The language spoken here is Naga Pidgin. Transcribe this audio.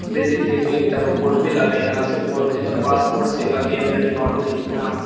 Building dae toh ekta board bhi lagaina ase board dae toh passport seva kender dimapur lekhina ase.